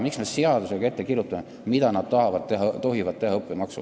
Miks me seadusega ette kirjutame, mida nad tohivad õppemaksu eest teha?